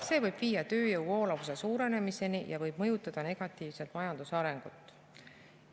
See võib viia tööjõu voolavuse suurenemiseni ja võib mõjutada negatiivselt majanduse arengut.